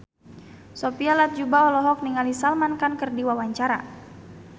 Sophia Latjuba olohok ningali Salman Khan keur diwawancara